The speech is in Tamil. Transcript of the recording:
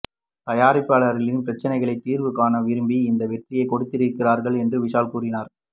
தயாரிப்பாளர்களின் பிரச்சனைகள் தீர்வு காண விரும்பி இந்த வெற்றியை கொடுத்திருக்கிறார்கள் என்று விஷால் கூறினார்